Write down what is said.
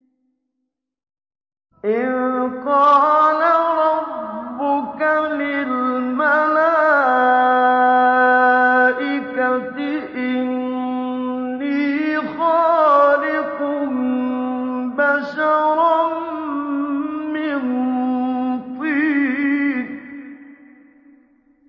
إِذْ قَالَ رَبُّكَ لِلْمَلَائِكَةِ إِنِّي خَالِقٌ بَشَرًا مِّن طِينٍ